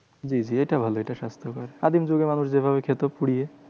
জি জি এটা ভালো এটা স্বাস্থকর। আদিম যুগের মানুষ যেভাবে খেত পুড়িয়ে।